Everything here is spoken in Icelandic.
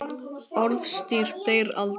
Orðstír deyr aldrei.